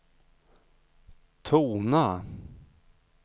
tona